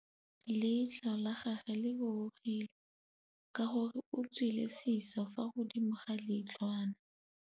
Leitlhô la gagwe le rurugile ka gore o tswile sisô fa godimo ga leitlhwana.